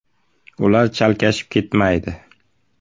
Ular chalkashib ketmaydi.